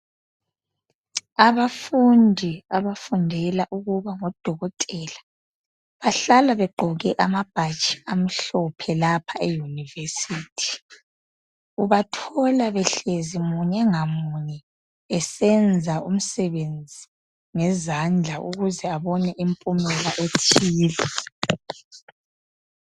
Abafundi abafundela ukuba ngodokotela bahlala begqoke amabhatshi amhlophe lapha euniversity ubathola behlezi munye ngamunye besenza umsebenzi ngezandla ukuze babone impumela ethile.